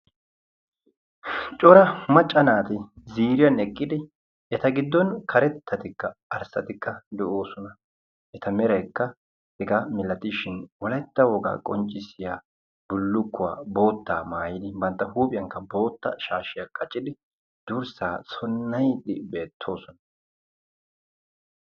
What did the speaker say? Cora macca naati ziiriyan eqqidi eta giddon karettatikka arssatikka de"oosona. Eta meraykka hegaa mala gidishin wolaytta wogaa qonccissiya bullukkuwa boottaa maayidi huuphiyankka bootta shaashiya qacidi durssaa sonnayiiddi beettoosona.